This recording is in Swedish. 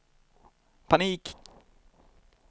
panik